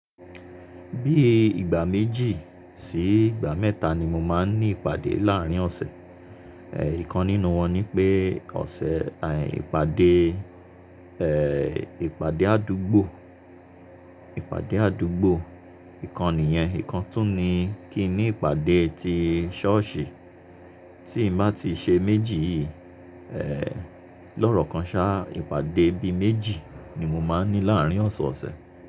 Bíi ìgbà méjì sí ìgbà mẹ́ta ni mo máa ń ní ìpàdé láàrín ọ̀sẹ̀. Ẹ̀, ìkan nínú wọn ni pé ọ̀sẹ̀, ẹ̀, ìpàdé, ẹ́, ìpàdé àdúgbò, ìpàdé àdúgbò. Ìkan nìyẹn. Ìkan tún ni kí n ní ìpàdé ti ṣọ́ọ̀ṣì. Tí n bá ti ṣe méjì yìí, ẹ́, lọ́ọ̀rọ̀ kan sá ìpàdé bíi méjì ni mo máa ń ní láàrín ọ̀sẹ̀ ọ̀sẹ̀.